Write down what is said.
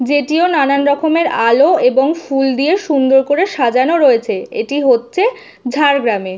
যে টিও নানারকমের আলো এবং ফুল দিয়ে সুন্দর করে সাজানো রয়েছে এইটি হচ্চে ঝাড়গ্রামে।